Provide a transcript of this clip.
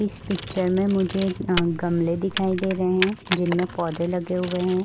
इस पिक्चर में मुझे गमले दिखाई दे रहे हैं जिनमें पौधे लगे हुए हैं --